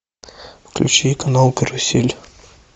включи канал карусель